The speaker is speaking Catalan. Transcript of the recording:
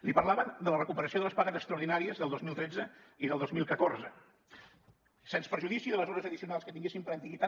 li parlaven de la recuperació de les pagues extraordinàries del dos mil tretze i del dos mil catorze sens perjudici de les hores addicionals que tinguessin per antiguitat